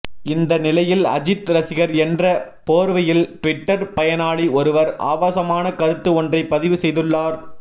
இந்த நிலையில் அஜீத் ரசிகர் என்ற போர்வையில் ட்விட்டர் பயனாளி ஒருவர் ஆபாசமான கருத்து ஒன்றை பதிவு செய்துள்ளார்